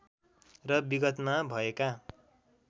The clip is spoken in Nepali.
र विगतमा भएका